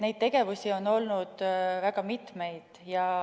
Nii et tegemisi on olnud väga mitmeid.